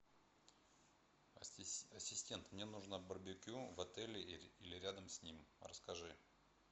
ассистент мне нужно барбекю в отеле или рядом с ним расскажи